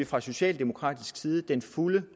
fra socialdemokratisk side den fulde